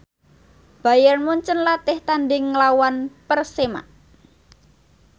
Bayern Munchen latih tandhing nglawan Persema